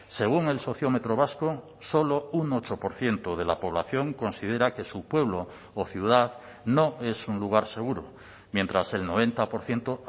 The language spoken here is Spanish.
según el sociómetro vasco solo un ocho por ciento de la población considera que su pueblo o ciudad no es un lugar seguro mientras el noventa por ciento